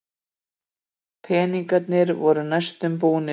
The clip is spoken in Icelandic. Peningarnir voru næstum búnir.